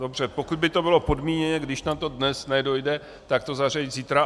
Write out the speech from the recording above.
Dobře, pokud by to bylo podmíněně, když na to dnes nedojde, tak to zařadit zítra.